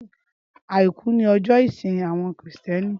Áikù ni òjò isín áwòn Kristièní